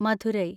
Madurai